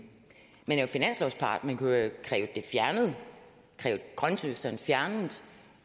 man er jo finanslovspart man kunne jo kræve grønthøsteren fjernet